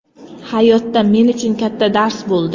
Hayotda men uchun katta dars bo‘ldi.